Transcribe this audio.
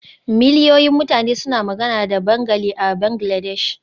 Miliyoyin mutane suna magana da Bengali a Bangladesh.